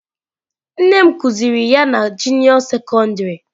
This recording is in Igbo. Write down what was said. Nne m kuziri ya na juniọ sekondarị.